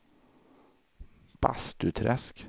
Bastuträsk